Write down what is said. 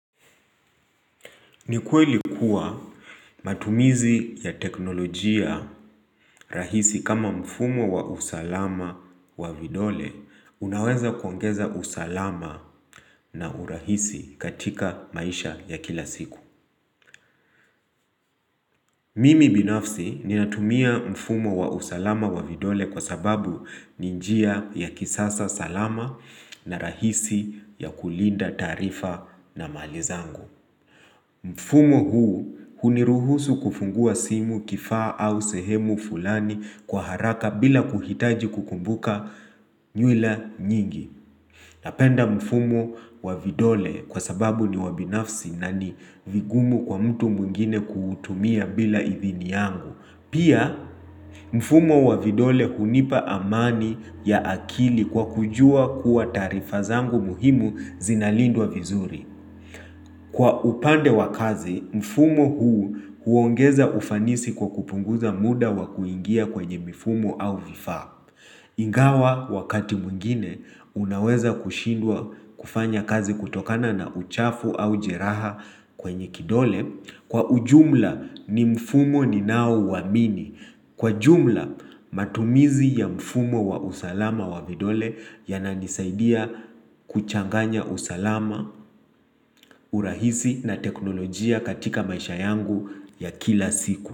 Ni kweli kuwa matumizi ya teknolojia rahisi kama mfumo wa usalama wa vidole unaweza kuongeza usalama na urahisi katika maisha ya kila siku. Mimi binafsi ninatumia mfumo wa usalama wa vidole kwa sababu ni njia ya kisasa salama na rahisi ya kulinda taarifa na mali yangu. Mfumo huu huniruhusu kufungua simu kifaa au sehemu fulani kwa haraka bila kuhitaji kukumbuka nywila nyingi. Napenda mfumo wa vidole kwa sababu ni wa binafsi na ni vigumu kwa mtu mwingine kuutumia bila idhini yangu. Pia mfumo wa vidole hunipa amani ya akili kwa kujua kuwa taarifa zangu muhimu zinalindwa vizuri. Kwa upande wa kazi, mfumo huu huongeza ufanisi kwa kupunguza muda wa kuingia kwenye mifumo au vifaa Ingawa wakati mwngine unaweza kushindwa kufanya kazi kutokana na uchafu au jeraha kwenye kidole, kwa ujumla ni mfumo ninao uamini Kwa jumla matumizi ya mfumo wa usalama wa vidole yananisaidia kuchanganya usalama, urahisi na teknolojia katika maisha yangu ya kila siku.